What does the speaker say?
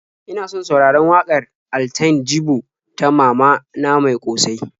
Ina son sauraron waƙar Altine Jibo ta "Mama na mai ƙosai."